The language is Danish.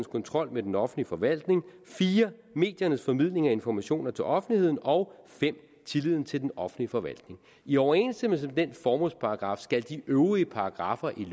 kontrol med den offentlige forvaltning 4 mediernes formidling af informationer til offentligheden og 5 tilliden til den offentlige forvaltning i overensstemmelse med den formålsparagraf skal de øvrige paragraffer i